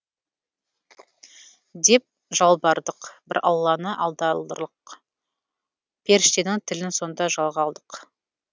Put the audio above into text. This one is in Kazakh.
деп жалбардық бір алланы алдарлық періштенің тілін сонда жалға алдық